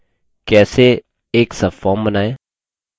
एक subform बनाएँ